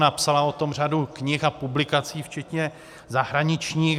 Napsala o tom řadu knih a publikací včetně zahraničních.